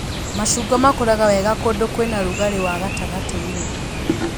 Macungwa makũraga wega kũndũ kwĩna rugarĩ wa gatagatĩ-inĩ